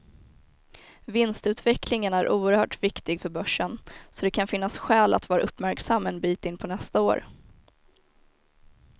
Vinstutvecklingen är oerhört viktig för börsen, så det kan finnas skäl att vara uppmärksam en bit in på nästa år.